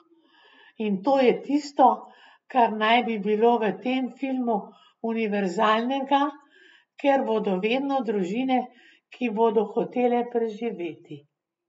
In to je tisto, kar naj bi bilo v tem filmu univerzalnega, ker bodo vedno družine, ki bodo hotele preživeti.